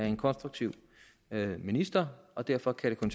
en konstruktiv minister og derfor kan det